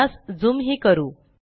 यास झूम हि करू